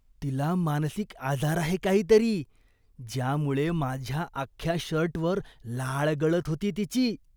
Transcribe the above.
तिला मानसिक आजार आहे काहीतरी, ज्यामुळे माझ्या अख्ख्या शर्टवर लाळ गळत होती तिची.